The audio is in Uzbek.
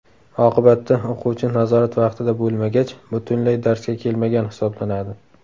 Oqibatda, o‘quvchi nazorat vaqtida bo‘lmagach, butunlay darsga kelmagan hisoblanadi.